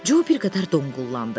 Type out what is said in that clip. Co bir qədər donqullandı.